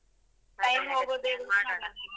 Time ಹೋಗುದೇ.